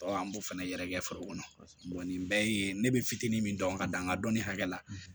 an b'o fana yɛrɛkɛ foro kɔnɔ nin bɛɛ ye ne bɛ fitinin min dɔn ka danga dɔnni hakɛ la